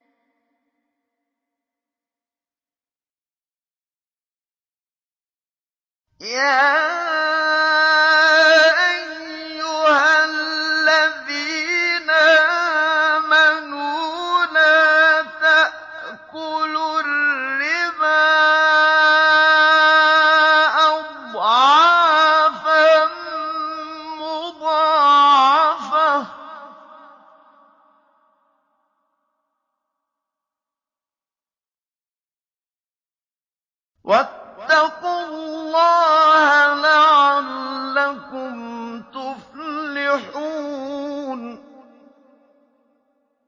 يَا أَيُّهَا الَّذِينَ آمَنُوا لَا تَأْكُلُوا الرِّبَا أَضْعَافًا مُّضَاعَفَةً ۖ وَاتَّقُوا اللَّهَ لَعَلَّكُمْ تُفْلِحُونَ